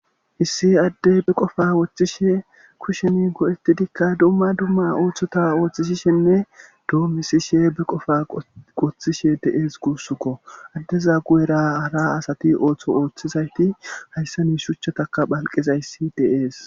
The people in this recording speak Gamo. hissi addey be qofa woththishe kushemi go7etidikka dumma dumma ooththota ooththishishenne doommisishe be qofa goththishe de7ees guussukko addeza gu7era hara asati ooththo ooththizayti hayssani shuchchataka phalqezayssi deees